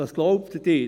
Was glauben Sie?